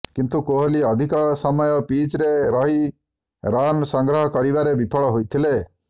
କିନ୍ତୁ କୋହଲି ଅଧିକ ସମୟ ପିଚରେ ରହି ରନ ସଂଗ୍ରହ କରିବାରେ ବିଫଳ ହୋଇଥିଲେ